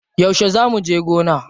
Yauce zaa muje gona?